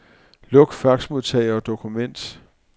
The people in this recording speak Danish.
Luk faxmodtager og dokument.